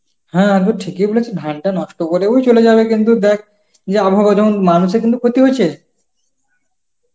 হ্যাঁ বুঝছি, কি হচ্ছে ধানটা নষ্ট করেও চলে যাবে কিন্তু দেখ এই আবহাওয়ায় মানুষের কিন্তু ক্ষতি হইছে